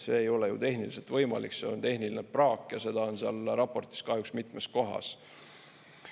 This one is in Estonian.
See ei ole ju tehniliselt võimalik, see on tehniline praak ja seda on seal raportis kahjuks mitmes kohas.